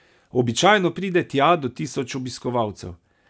Običajno pride tja do tisoč obiskovalcev.